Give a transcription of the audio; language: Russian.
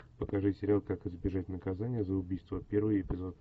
покажи сериал как избежать наказания за убийство первый эпизод